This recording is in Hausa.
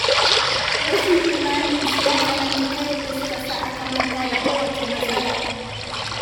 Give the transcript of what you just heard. Rashin imaninsu ya tsananta, ta yadda suka sa aka manta da kowace matsala.